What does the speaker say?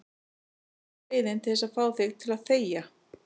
Það er eina leiðin til að fá þig til að þegja.